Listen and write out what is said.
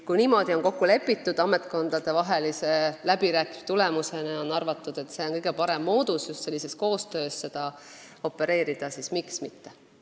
Kui niimoodi on ametkondadevaheliste läbirääkimiste tulemusena kokku lepitud ja on arvatud, et kõige parem moodus on just sellises koostöös seda opereerida, siis miks mitte.